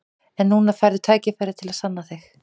En núna færðu tækifæri til að sanna þig.